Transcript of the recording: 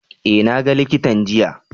Eh na ga likitan jiya.